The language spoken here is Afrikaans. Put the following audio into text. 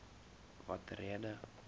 watter rede